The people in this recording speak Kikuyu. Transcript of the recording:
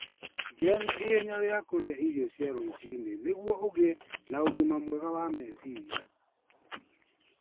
Gĩa na ihenya rĩa kũrĩa irio cia rũcinĩ nĩguo ũgĩe na ũgima mwega wa meciria.